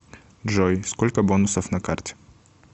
джой сколько бонусов на карте